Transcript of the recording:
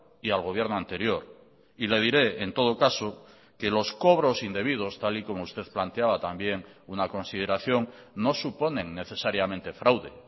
y al gobierno anterior y le diré en todo caso que los cobros indebidos tal y como usted planteaba también una consideración no suponen necesariamente fraude